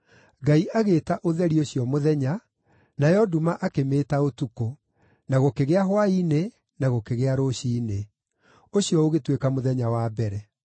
Ngai agĩĩta ũtheri ũcio “mũthenya,” nayo nduma akĩmĩĩta “ũtukũ.” Na gũkĩgĩa hwaĩ-inĩ, na gũkĩgĩa rũciinĩ. Ũcio ũgĩtuĩka mũthenya wa mbere.